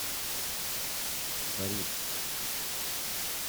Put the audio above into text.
борис